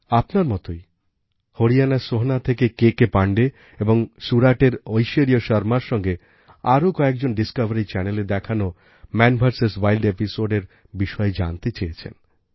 আপনার মতই হরিয়ানার সোহনা থেকে কেকে পাণ্ডে এবং সুরাতের ঐশ্বর্য শর্মার সঙ্গে আরও কয়েকজন ডিসকভারি Channelএ দেখানো মান ভিএস উইল্ড episodeএর বিষয়ে জানতে চেয়েছেন